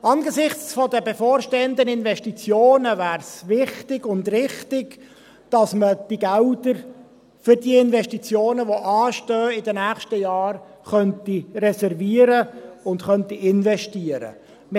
Angesichts der bevorstehenden Investitionen wäre es wichtig und richtig, dass man diese Gelder für die Investitionen, die in den nächsten Jahren anstehen, reservieren und investieren könnte.